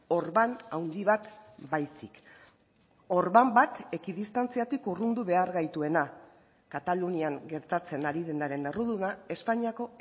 orban handi bat baizik orban bat ekidistantziatik urrundu behar gaituena katalunian gertatzen ari denaren erruduna espainiako